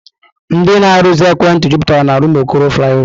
Ndị na-arụzi ekwentị jupụtara n'Rụmụokoro Flaịọvá.